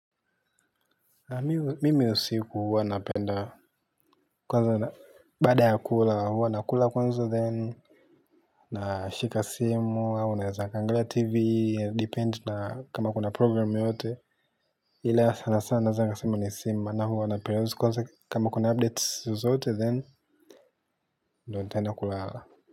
Mimi usiku huwa napenda. Baada ya kula, huwa nakula then nashika simu au naweza kuangalia tv depend na kama kuna program yoyote ila sana sana naweza nikasema ni ya simu na huwa napenda kwanza kwa kama kuna updates zote then ndio nitaenda kulala.